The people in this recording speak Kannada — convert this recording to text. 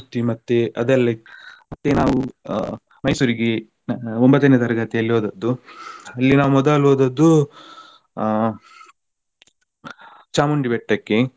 ಮತ್ತೆ ಅದೆಲ್ಲಇತ್ತು ಮತ್ತೆ ನಾವು ಆಹ್ Mysore ಗೆ ಒಂಬತ್ತನೇ ತರಗತಿಯಲ್ಲಿ ಹೋದದ್ದು ಅಲ್ಲಿ ನಾವು ಮೊದಲು ಹೋದದ್ದು ಆ ಚಾಮುಂಡಿ ಬೆಟ್ಟಕ್ಕೆ.